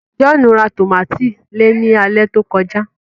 John rà tomati lẹẹ ní alẹ tó kọjá